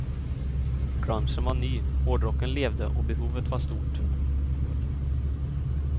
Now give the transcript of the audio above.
Grungen var ny, hårdrocken levde och behovet var stort.